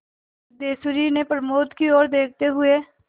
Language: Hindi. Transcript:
सिद्धेश्वरी ने प्रमोद की ओर देखते हुए